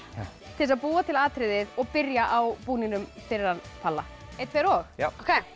til þess að búa til atriðið og byrja á búningnum fyrir hann palla einn tveir og já